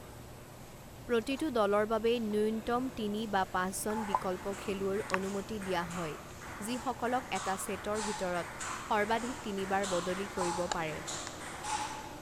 প্ৰতিটো দলৰ বাবে ন্যূনতম তিনি বা পাঁচজন বিকল্প খেলুৱৈৰ অনুমতি দিয়া হয়, যিসকলক এটা ছেটৰ ভিতৰত সৰ্বাধিক তিনিবাৰ বদলি কৰিব পাৰে।